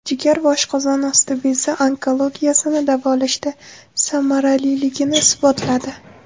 Jigar va oshqozon osti bezi onkologiyasini davolashda samaraliligini isbotladi.